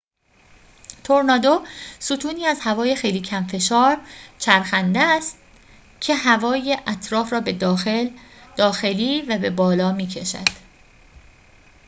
تورنادو ستونی از هوای خیلی کم‌فشار چرخنده است که هوای اطراف را به داخلی و به بالا می‌کشد